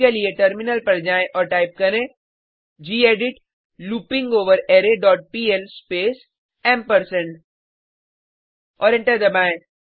इसके लिए टर्मिनल पर जाएँ और टाइप करें गेडिट लूपिंगवररे डॉट पीएल स्पेस ऐंपर्सैंड और एंटर दबाएँ